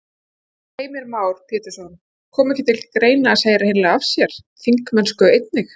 Heimir Már Pétursson: Kom ekki til greina að segja hreinlega af sér þingmennsku einnig?